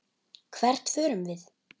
Hvert förum við?